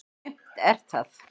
Aumt er það.